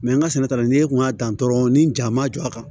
n ka sɛnɛ ta la n'e kun y'a dan dɔrɔn ni ja ma jɔ a kan